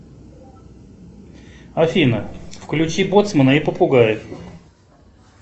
афина включи боцмана и попугаев